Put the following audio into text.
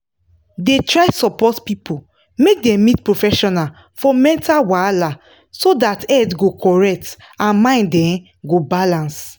da try support people make dem meet professional for mental wahala so that head go correct and mind um go balance